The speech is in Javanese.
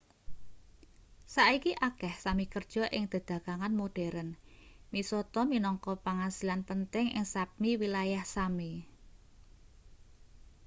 saiki akeh sámi kerja ing dedagangan modheren. misata minangka pangasilan penting ing sápmi wilayah sámi